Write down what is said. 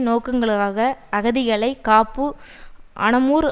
நோக்கங்களுக்காக அகதிகளை காப் அனமுர்